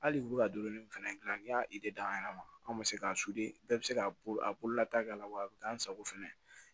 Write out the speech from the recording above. Hali u bɛ ka donni min fɛnɛ dilan n'i y'a da an yɛrɛ ma an bɛ se k'a bɛɛ bɛ se ka bolo a bolola ta k'a la wa a bɛ k'an sago fɛnɛ